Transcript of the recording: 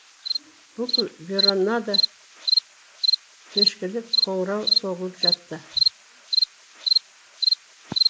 бүкіл веронада кешкілік қоңырау соғылып жатты